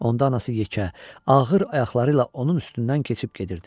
Onda anası yekə, ağır ayaqları ilə onun üstündən keçib gedirdi.